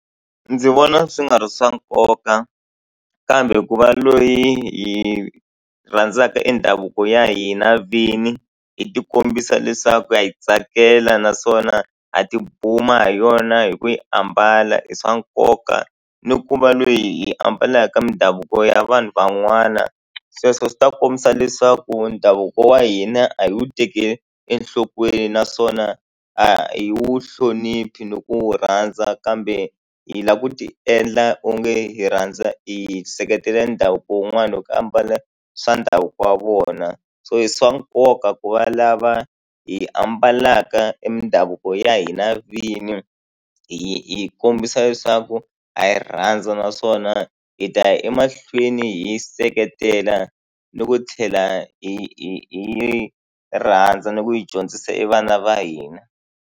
Ndzi vona swi nga ri swa nkoka kambe ku va loyi hi rhandzaka i ndhavuko ya hina vini hi tikombisa leswaku ha yi tsakela naswona ha tibuma hi yona hi ku yi ambala i swa nkoka ni ku va lweyi hi ambalaka ka mindhavuko ya vanhu van'wana sweswo swi ta kombisa leswaku ndhavuko wa hina a hi wu tekeli enhlokweni naswona a hi wu hloniphi ni ku wu rhandza kambe hi lava ku tiendla onge hi rhandza hi seketela ndhavuko wun'wana hi ku ambala swa ndhavuko wa vona so hi swa nkoka ku va lava hi ambalaka e mindhavuko ya hina vini hi hi kombisa leswaku ha yi rhandza naswona hi ta ya emahlweni hi seketela ni ku tlhela hi hi hi rhandza ni ku hi dyondzisa e vana va hina.